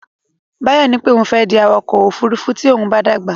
Báyọ̀ ní pé òun fẹ́ di awakọ̀ ófurufú tí òun bá dàgbà.